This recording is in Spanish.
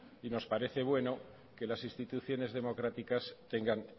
y nos parece bueno que las instituciones democráticas tengan